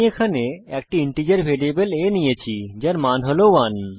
এখানে আমি একটি ইন্টিজার ভ্যারিয়েবল a নিয়েছি যার মান হল 1